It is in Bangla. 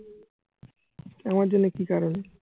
আমার জন্যে কি কারণে?